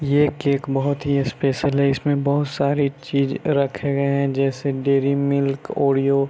ये केक बहुत ही स्पेशल है इस में बहुत सारी चीज रखे गए हैं जैसे डेरी मिल्क ओरिओ ।